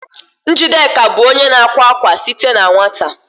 Njideka bụ onye na-akwa akwa site na nwata